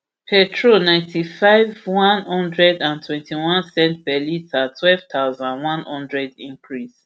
petrol ninety-five ulp lrp one hundred and twentyone cents per litre twelve thousand, one hundred cl increase